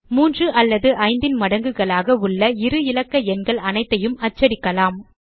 3 அல்லது 5 ன் மடங்குகளாக உள்ள இரு இலக்க எண்கள் அனைத்தையும் அச்சடிக்கலாம்